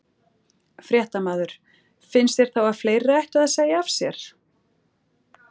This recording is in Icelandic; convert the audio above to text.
Fréttamaður: Finnst þér þá að fleiri ættu að segja af sér?